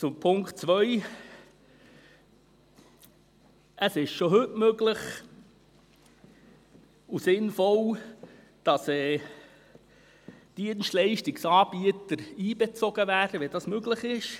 Zum Punkt 2: Es ist schon heute möglich und sinnvoll, dass Dienstleistungsanbieter einbezogen werden, wenn das möglich ist.